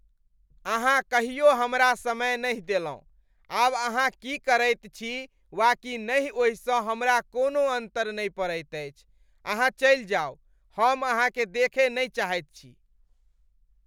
अहाँ कहियो हमरा समय नहि देलहुँ। आब अहाँ की करैत छी वा की नहि ओहिसँ हमरा कोनो अन्तर नहि पड़ैत अछि। अहाँ चलि जाउ, हम अहाँकेँ देखय नहि चाहैत छी।